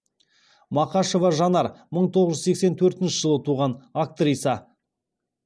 мақашева жанар мың тоғыз жүз сексен төртінші жылы туған актриса